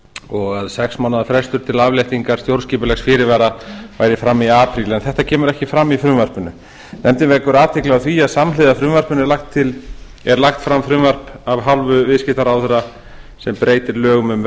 og að sex mánaða frestur til afléttingar stjórnskipulegs fyrirvara væri fram í apríl en þetta kemur ekki fram í frumvarpinu nefndin vekur athygli á því að samhliða frumvarpinu er lagt fram frumvarp af hálfu viðskiptaráðherra sem breytir lögum um